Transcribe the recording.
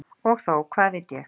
Og þó, hvað veit ég?